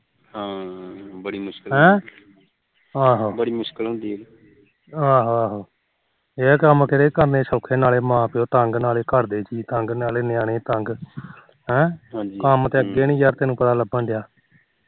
ਅਹੋ ਆਹੋ ਇਹ ਕੰਮ ਕਰਨੇ ਕਿਤੇ ਸੋਖੇ ਨਾਲੇ ਮਾ ਪਿਓ ਤੰਗ ਨਾਲੋ ਘਰ ਦੇ ਤੰਗ ਨਾਲੇ ਨਿਆਣੇ ਤੰਗ ਹਮ ਕੰਮ ਤੇ ਅੱਗੇ ਨੀ ਤੈਨੂੰ ਪਤਾ ਲੱਭਣ ਡਿਆ